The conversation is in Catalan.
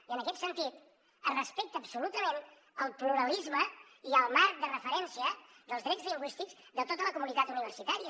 i en aquest sentit es respecta absolutament el pluralisme i el marc de referència dels drets lingüístics de tota la comunitat universitària